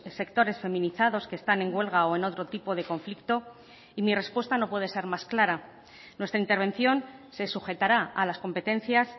sectores feminizados que están en huelga o en otro tipo de conflicto y mi respuesta no puede ser más clara nuestra intervención se sujetará a las competencias